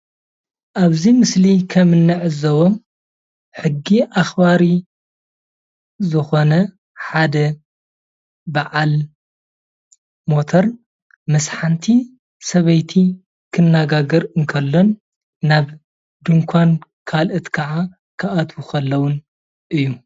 ኣብዚ ምስሊ ከም እንዕዘቦ ሕጊ ኣኽባሪ ዝኾነ ሓደ በዓል ሞተር ምስ ሓንቲ ሰበይቲ ክነጋገር እንከሎን ካሎኦት ድማ ናብ ድንዃን እንዳ አተው ከለውን እዩ።